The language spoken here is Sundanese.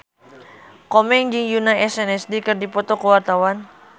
Komeng jeung Yoona SNSD keur dipoto ku wartawan